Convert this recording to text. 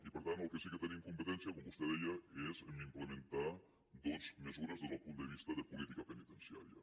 i per tant en el que sí que tenim competència com vostè deia és en implementar doncs mesures des del punt de vista de política penitenciària